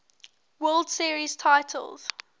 world series titles